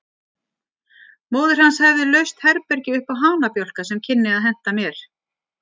Móðir hans hefði laust herbergi uppá hanabjálka sem kynni að henta mér.